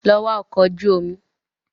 Lọ wá ọkọ̀ ojú omi